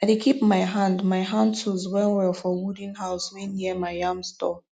i dey keep my hand my hand tools well well for wooden house wey near my yam store